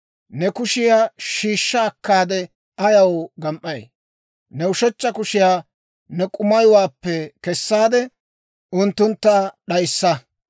Ne kushiyaa shiishsha akkaade ayaw gam"ay? Ne ushechcha kushiyaa ne k'umayuwaappe kessaade unttuntta d'ayssa.